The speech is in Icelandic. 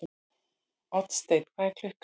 Oddsteinn, hvað er klukkan?